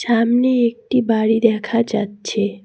সামনে একটি বাড়ি দেখা যাচ্ছে।